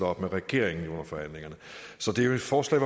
op med regeringen under forhandlingerne så det er jo et forslag